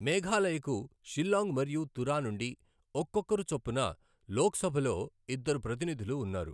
మేఘాలయకు షిల్లాంగ్ మరియు తురా నుండి ఒక్కొక్కరు చొప్పున లోక్సభలో ఇద్దరు ప్రతినిధులు ఉన్నారు.